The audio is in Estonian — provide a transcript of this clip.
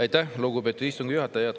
Aitäh, lugupeetud istungi juhataja!